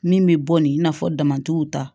Min bɛ bɔ nin i n'a fɔ damatɛmɛw ta